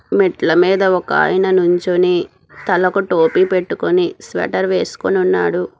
మెట్ల మీద ఒకాయన నుంచుని తలకు టోపీ పెట్టుకొని స్వేటర్ వేస్కొని ఉన్నాడు.